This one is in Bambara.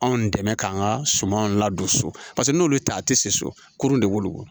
Anw dɛmɛ k'an ka sumanw ladon so paseke n'olu ta tɛ se so kurun de b'olu bɔ